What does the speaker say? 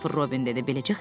Kristofer Robin dedi.